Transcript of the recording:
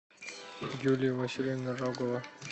юлия васильевна рогова